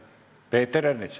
Peeter Ernits.